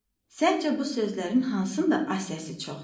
Səncə bu sözlərin hansında A səsi çoxdur?